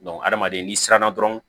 hadamaden ni siranna dɔrɔn